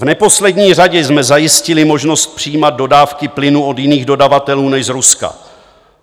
V neposlední řadě jsme zajistili možnost přijímat dodávky plynu od jiných dodavatelů než z Ruska.